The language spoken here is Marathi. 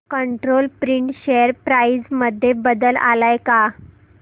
कंट्रोल प्रिंट शेअर प्राइस मध्ये बदल आलाय का